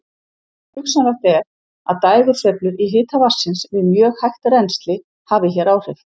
Hugsanlegt er að dægursveiflur í hita vatnsins við mjög hægt rennsli hafi hér áhrif.